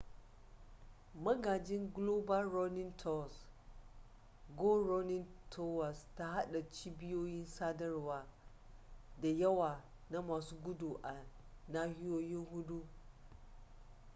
magajin global runnning tours go running towers ta hada cibiyoyi sadarwa da yawa na masu gudu a nahiyoyi hudu